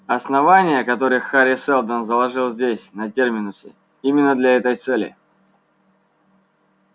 основание которое хари сэлдон заложил здесь на терминусе именно для этой цели